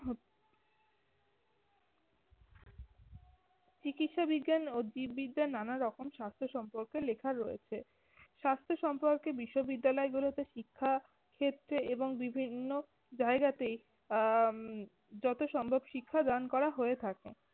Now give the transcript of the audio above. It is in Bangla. চিকিৎসাবিজ্ঞান ও জীব বিদ্যার নানা রকম স্বাস্থ্য সম্পর্কে লেখা রয়েছে। স্বাস্থ্য সম্পর্কে বিশ্ববিদ্যালয় গুলোতে শিক্ষা ক্ষেত্রে এবং বিভিন্ন জায়গাতে আহ যত সম্ভব শিক্ষাদান করা হয়ে থাকে।